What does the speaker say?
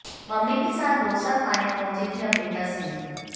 mummy के साथ डोसा खाने पहुंचीं थी अमृता सिंह